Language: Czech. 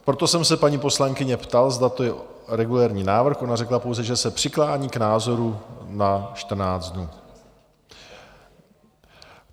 Proto jsem se paní poslankyně ptal, zda to je regulérní návrh, ona řekla pouze, že se přiklání k názoru na 14 dnů.